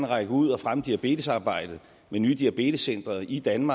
række ud og fremme diabetesarbejdet med nye diabetescentre i danmark